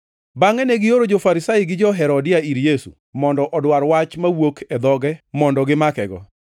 Bangʼe negioro jo-Farisai gi jo-Herodia ir Yesu mondo odwar wach mawuok e dhoge mondo gimakego.